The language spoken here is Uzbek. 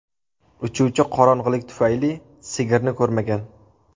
Uchuvchi qorong‘ilik tufayli sigirni ko‘rmagan.